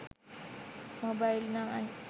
mobile 9